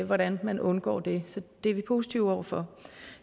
hvordan man undgår det så det er vi positive over for